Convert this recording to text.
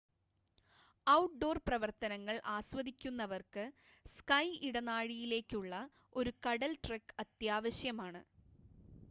outdoor പ്രവർത്തനങ്ങൾ ആസ്വദിക്കുന്നവർക്ക് sky ഇടനാഴിയിലേക്കുള്ള ഒരു കടൽ ട്രെക്ക് അത്യാവശ്യമാണ്